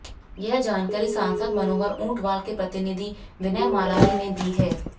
यह जानकारी सांसद मनोहर ऊंटवाल के प्रतिनिधि विनय मालानी ने दी है